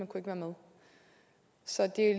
kunne være med så det